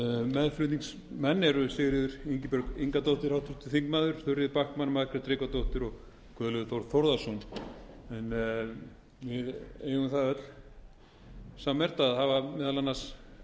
meðflutningsmenn eru háttvirtir þingmenn sigríður ingibjörg ingadóttir þuríður backman margrét tryggvadóttir og guðlaugur þór þórðarson en við eigum það öll sammerkt að hafa meðal annars